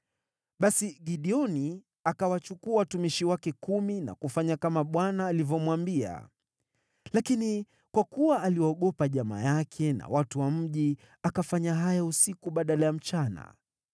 Basi Gideoni akawachukua watumishi wake kumi na kufanya kama Bwana alivyomwambia. Lakini kwa kuwa aliwaogopa jamaa yake na watu wa mji, akafanya haya usiku badala ya mchana.